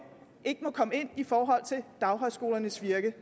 ikke må komme ind i forhold til daghøjskolernes virke